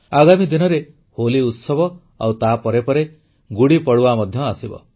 ଆଗାମୀ ଦିନରେ ହୋଲି ଉତ୍ସବ ଆଉ ତାପରେ ପରେ ଗୁଡ଼ି ପଡ଼ୱା ମଧ୍ୟ ଆସିବ